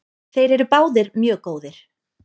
Þeir eru báðir mjög góðir.